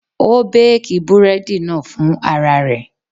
Ó béèkì búrẹ́dì náà fún ara rẹ̀.